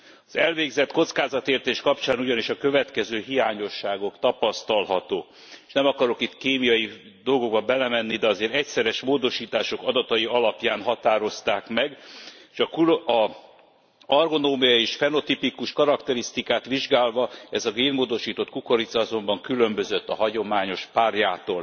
Az elvégzett kockázatértékelés kapcsán ugyanis a következő hiányosságok tapasztalhatók s nem akarok itt kémiai dolgokba belemenni, de azért egyszeres módosítások adatai alapján határozták meg az argonómiai és fenotipikus karakterisztikát vizsgálva ez a génmódosított kukorica különbözött a hagyományos párjától.